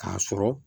K'a sɔrɔ